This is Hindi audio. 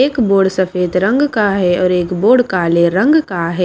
एक बोर्ड सफेद रंग का है और एक बोर्ड काले रंग का है।